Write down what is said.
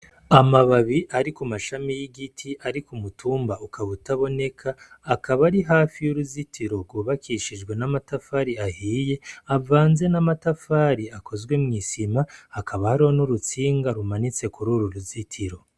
Amababi ari ku mashami y'igiti ari ku mutumba ukaba utaboneka akaba ari hafi y'uruzitiro rwubakishijwe n'amatafari ahiye, avanze n'amatafari akozwe mwisima, hakaba hariho n'urutsinga rumanitse kuri uru ruzitiro.